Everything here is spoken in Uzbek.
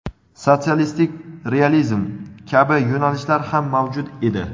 "sotsialistik realizm" kabi yo‘nalishlar ham mavjud edi.